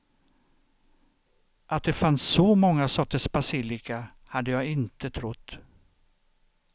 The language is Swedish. Att det fanns så många sorters basilika hade jag inte trott.